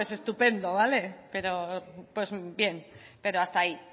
pues estupendo pero